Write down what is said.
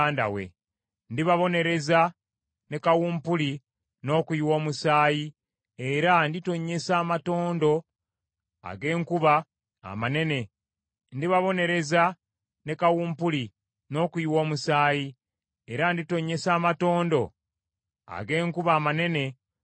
Ndibabonereza ne kawumpuli n’okuyiwa omusaayi, era nditonnyesa amatondo ag’enkuba amanene nga mulimu omuzira n’omuliro ku ye, n’eggye lye ne ku mawanga amangi agaamwegattako.